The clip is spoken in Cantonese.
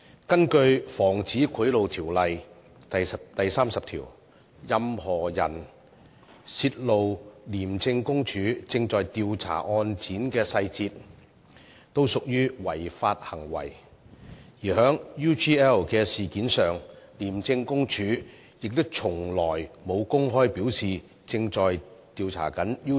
根據《防止賄賂條例》第30條，任何人泄露廉署正在調查案件的細節，均屬違法，而就 UGL 事件，廉署亦從來沒有公開表示正就該事件進行調查。